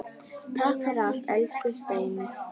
Takk fyrir allt, elsku Steini.